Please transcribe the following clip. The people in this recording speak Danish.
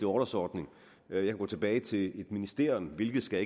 orlovsordning jeg kan gå tilbage til et ministerium hvilket skal